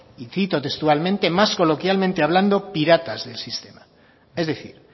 cito textualmente más coloquialmente hablado piratas del sistema es decir